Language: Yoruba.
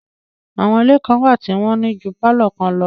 Àwọn ilé kan wà tí wọ́n ní ju pálọ̀ kan lọ